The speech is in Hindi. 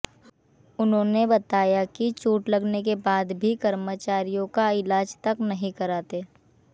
उन्होंने बताया कि चोट लगने के बाद भी कर्मचारियों का ईलाज तक नहीं कराते